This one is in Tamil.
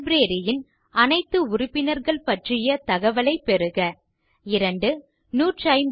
லைப்ரரி ன் அனைத்து உறுப்பினர்கள் பற்றிய தகவலைப் பெறுக 2